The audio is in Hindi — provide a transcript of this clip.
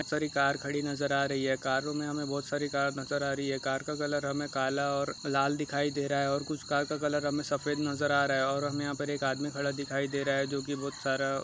बहुत सारी कार खड़ी नजर आ रही है कारो में हमे बहोत सारी कार नजर आ रही है कार का कलर हमे काला ओर लाल दिखाई दे रहा है ओर कुछ कार का कलर हमे सफेद नजर आ रहा है ओर हमे यंहा पर एक आदमी खड़ा दिखाई दे रहा है जोकी बहुत सारा --